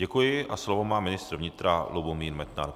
Děkuji a slovo má ministr vnitra Lubomír Metnar.